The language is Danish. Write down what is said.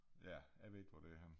Ja jeg ved ikke hvor det er henne